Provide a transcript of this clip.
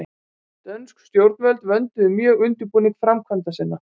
Dönsk stjórnvöld vönduðu mjög undirbúning framkvæmda sinna.